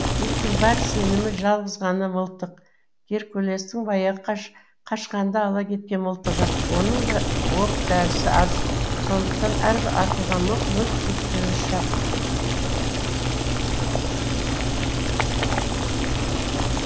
диктің бар сенімі жалғыз ғана мылтық геркулестің баяғы қашқанда ала кеткен мылтығы оның да оқ дәрісі аз сондықтан әрбір атылған оқ мүлт кетпеуі шарт